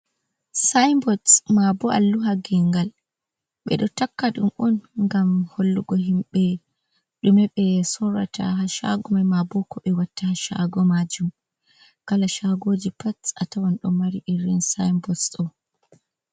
Sayinbot maa bo alluha ngengal. Ɓe ɗo takka ɗum on ngam hollugo himɓe ɗume ɓe sorrata ha shago mai, maa bo koɓe watta haa shago maajum. Kala shagoji pat a tawan ɗo mari irin sayinbots ɗo.